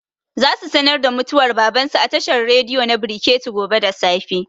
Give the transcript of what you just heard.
Za su sanar da mutuwar baban su a tashar rediyo na brekete gobe da safe